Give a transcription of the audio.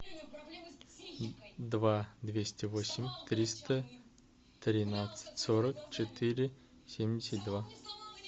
два двести восемь триста тринадцать сорок четыре семьдесят два